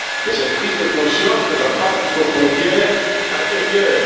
Mais cette prise de conscience ne va pas jusqu'aux frontières intérieures.